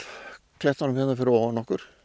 klettunum hérna fyrir ofan okkur